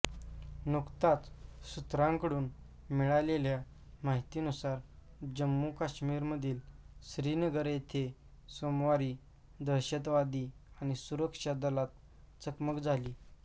नुकताच सूत्रांकडून मिळालेल्या माहितीनुसार जम्मू काश्मीरमधील श्रीनगर येथे सोमवारी दहशतवादी आणि सुरक्षा दलात चकमक झाली